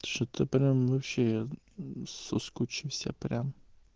что-то прям вообще соскучился прям